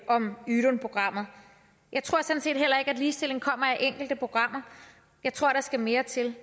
om ydun programmet jeg tror sådan set heller ikke at ligestilling kommer af enkelte programmer jeg tror der skal mere til